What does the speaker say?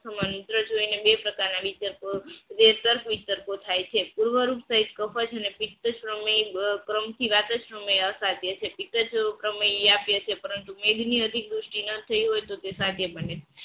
મંત્ર જોઈને બે પ્રકારના વિતર તો થાય છે વાદા સમય અસત્ય છે પરંતુ એજની અતિવૃષ્ટિના થઈ હોય તો તે સીઠા ત્યાં બને છે સાધ્ય બને છે